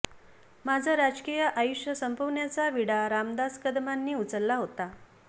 माझं राजकीय आयुष्य संपविण्याचा विडा रामदास कदमांनी उचलला होता